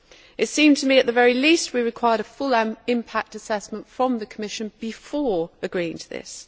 It seemed to me that, at the very least, we required a full impact assessment from the Commission before agreeing to this.